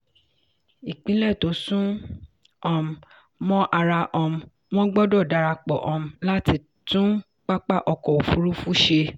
ìpínlẹ̀ tó sún um mọ́ ara um wọn gbọ́dọ̀ darapọ̀ um láti tun pápá ọkọ̀ òfurufú ṣe.